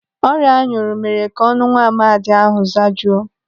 Ọrịa anyụrụ mere ka ọnụ nwaamadi ahụ zajuo.